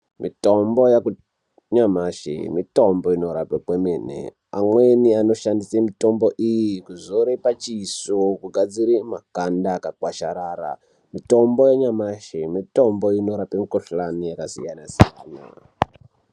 Mitombo yanyamashi mitombo inorapa kwemene .Amweni anoshandise mitombo iyo kuzore pachiso kugadzirira makanda akakwasharara . Mitombo yanyamashi mitombo inorapa mikuhlani yakasiyana siyana.